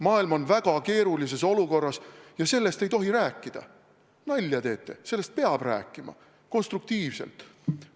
Maailm on väga keerulises olukorras ja sellest ei tohtivat rääkida – nalja teete, sellest peab rääkima ja konstruktiivselt!